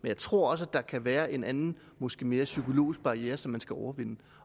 jeg tror også at der kan være en anden og måske mere psykologisk barriere som man skal overvinde